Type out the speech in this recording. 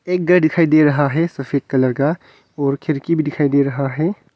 एक घर दिखाई दे रहा है सफेद कलर का और खिड़की भी दिखाई दे रहा है।